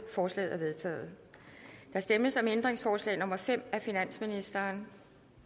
forslaget er vedtaget der stemmes om ændringsforslag nummer fem af finansministeren